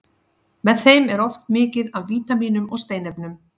Með þeim er oft mikið af vítamínum og steinefnum.